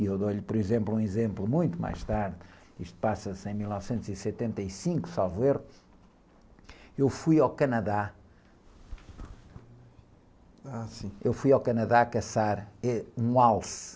E eu dou-lhe, por exemplo, um exemplo muito mais tarde, isto passa-se em mil novecentos e setenta e cinco, salvo erro, eu fui ao Canadá, ..h, sim.u fui ao Canadá caçar, um alce,